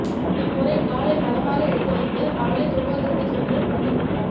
இம்முறை காலை பதமாக எடுத்து வைத்து அவளே தொழுவத்துக்குச் சென்று படுத்துக்கொண்டாள்